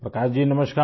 प्रकाश जी नमस्कार